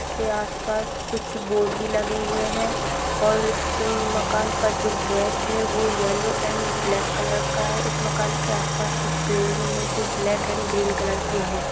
उसके आस पास कुछ बोर्ड भी लगे हुए है और उस मकान का जो गेट वो येल्लो एण्ड ब्लैक कलर का है इस मकान के आस पास कुछ पेड़ भी है जो ब्लैक एण्ड ग्रीन कलर के है।